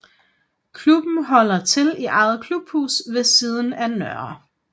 Klubben holder til i eget klubhus ved siden af Nr